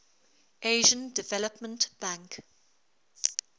asian development bank